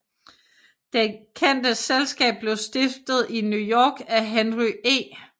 Det kendte selskab blev stiftet i New York af Henry E